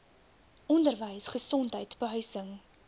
onderwys gesondheid behuising